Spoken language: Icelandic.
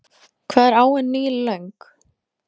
Hvað er áin Níl löng?